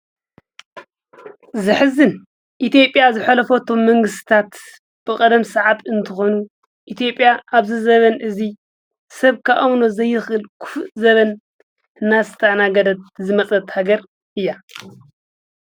ዝሕዝን ኢቲጴያ ዝኅለፎቶም መንግሥታት ብቐደም ሰዓት እንተኾኑ ኢቲጴያ ኣብዝ ዘበን እዙይ ሰብካ ኣምኖ ዘይኽል ክፍ ዘበን እናስተእናገደት ዝመጸት ሃገር እያ።